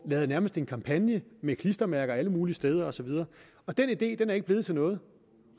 lavede nærmest en kampagne med klistermærker alle mulige steder og så videre den idé er ikke blevet til noget